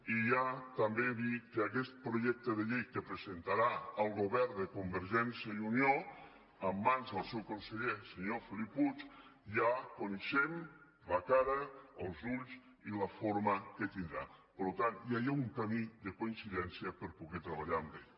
i ja també dir que d’aquest projecte de llei que presentarà el govern de convergència i unió en mans del seu conseller senyor felip puig ja coneixem la cara els ulls i la forma que tindrà per tant ja hi ha un camí de coincidència per poder treballar amb ell